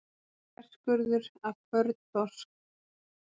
Þverskurður af kvörn þorsks.